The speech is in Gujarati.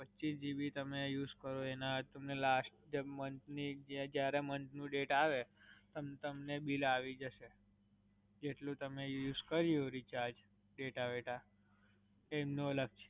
પચીસ GB તમે use કરો એના તમને last જબ month ની, જ્યારે month નું date આવે, તમને bill આવી જસે. જેટલું તમે use કર્યું reacharge, data વેતા, એમનું અલગ.